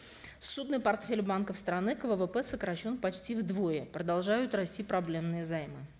ссудный портфель банков страны к ввп сокращен почти вдвое продолжают расти проблемные займы